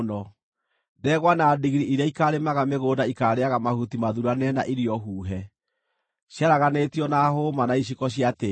Ndegwa na ndigiri iria ikaarĩmaga mĩgũnda ikaarĩĩaga mahuti mathuuranĩre na irio huhe, ciaraganĩtio na hũũma na iciko cia tĩĩri.